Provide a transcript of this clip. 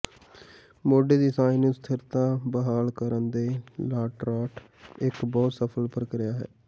ਮੋਢੇ ਦੀ ਸਾਂਝ ਨੂੰ ਸਥਿਰਤਾ ਬਹਾਲ ਕਰਨ ਤੇ ਲਾਟਰਾਟ ਇੱਕ ਬਹੁਤ ਸਫਲ ਪ੍ਰਕਿਰਿਆ ਹੈ